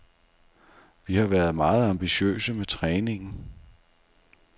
Vi har været meget ambitiøse med træningen.